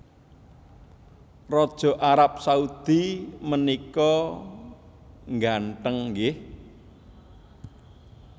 Raja Arab Saudi menika ngganteng nggih